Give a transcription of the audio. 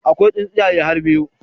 Akwai tsintsiyaye har biyu